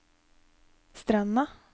Stranda